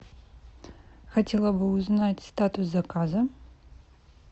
хотела бы узнать статус заказа